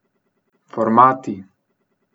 Formati.